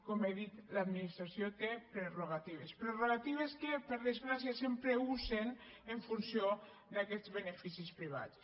com he dit l’administració té prerrogatives prerrogatives que per desgràcia sempre usen en funció d’aquests beneficis privats